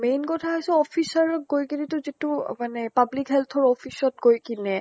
main কথা হৈছে officer ক গৈ কিনে টো যিটো মানে public health office ত গৈ কিনে